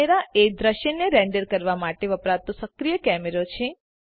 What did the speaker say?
camera એ દૃશ્યને render કરવાં માટે વપરાતો સક્રીય કેમેરો છે